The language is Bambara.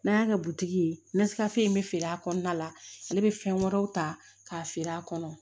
N'an y'a kɛ butigi ye nɛkafeere in bɛ feere a kɔnɔna la ale bɛ fɛn wɛrɛw ta k'a feere a kɔnɔ